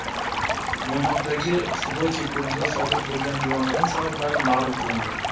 Mo‘ynoqdagi Sudoche ko‘lida sodir bo‘lgan yong‘in sabablari ma’lum qilindi.